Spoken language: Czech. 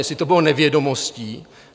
Jestli to bylo nevědomostí?